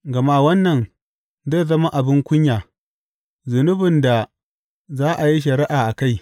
Gama wannan zai zama abin kunya, zunubin da za a yi shari’a a kai.